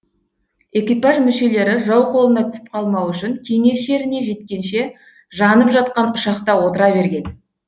экипаж мүшелері жау қолына түсіп қалмау үшін кеңес жеріне жеткенше жанып жатқан ұшақта отыра берген